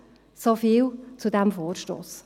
So viel zu diesem Vorstoss.